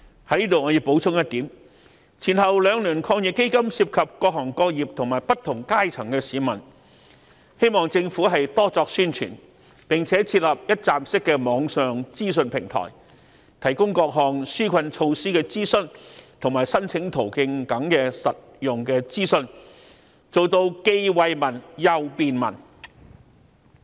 在此我要補充一點，前後兩輪抗疫基金涉及各行各業和不同階層的市民，希望政府多作宣傳，並且設立一站式的網上資訊平台，提供各項紓困措施的諮詢及申請途徑等實用資訊，做到既惠民又便民。